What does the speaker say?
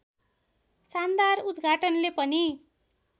शानदार उद्घाटनले पनि